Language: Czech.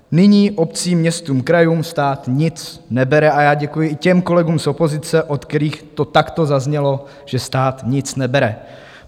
Nyní obcím, městům, krajům, stát nic nebere a já děkuji i těm kolegům z opozice, od kterých to takto zaznělo, že stát nic nebere.